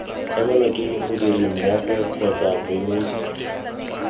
emelwa ke modirimmogo kgotsa moemedi